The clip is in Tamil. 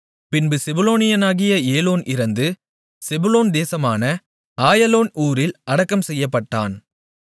பின்பு செபுலோனியனாகிய ஏலோன் இறந்து செபுலோன் தேசமான ஆயலோன் ஊரில் அடக்கம் செய்யப்பட்டான்